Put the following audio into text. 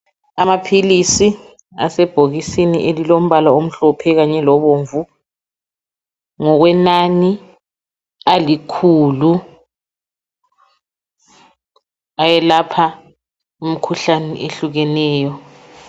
Amaphilisi asebhokisini elilombala omhlophe kanye lobomvu ngokwenani alikhulu ayelapha imikhuhlane ehlukeneyo.